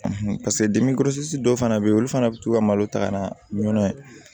paseke dimi kɔrɔsi dɔw fana bɛ yen olu fana bɛ to ka malo ta ka na ɲɔnɔ